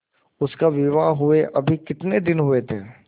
उसका विवाह हुए अभी कितने दिन हुए थे